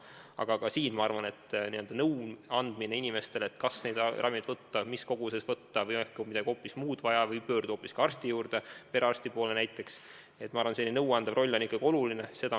Aga ka siin, ma arvan, on inimestele nõu andmine selle kohta, kas üht või teist ravimit võtta, millises koguses võtta või on äkki hoopis midagi muud vaja või tuleks pöörduda arsti, näiteks perearsti poole, ikkagi oluline.